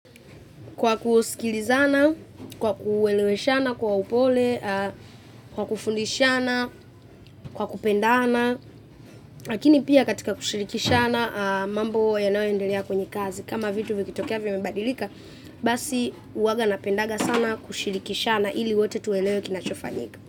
Kwa kusikilizana, kwa kueleweshana kwa upole, kwa kufundishana, kwa kupendana. Lakini pia katika kushirikishana mambo yanayoendelea kwenye kazi. Kama vitu vikitokea vimebadilika, basi huwanga napendanga sana kushirikishana ili wote tuelewe kinachofanyika.